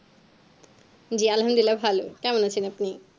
জি আলহাম দুলিল্লা ভালো কেমন আছেন আপনি